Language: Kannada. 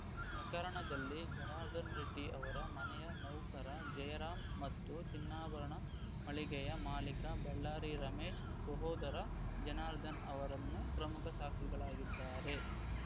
ಪ್ರಕರಣದಲ್ಲಿ ಜನಾರ್ದನರೆಡ್ಡಿ ಅವರ ಮನೆಯ ನೌಕರ ಜಯರಾಂ ಮತ್ತು ಚಿನ್ನಾಭರಣ ಮಳಿಗೆಯ ಮಾಲೀಕ ಬಳ್ಳಾರಿ ರಮೇಶ್‌ ಸಹೋದರ ಜನಾರ್ದನ್‌ ಅವರನ್ನು ಪ್ರಮುಖ ಸಾಕ್ಷಿಗಳಾಗಿದ್ದಾರೆ